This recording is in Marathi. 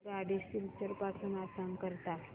आगगाडी सिलचर पासून आसाम करीता